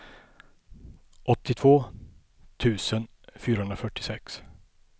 åttiotvå tusen fyrahundrafyrtiosex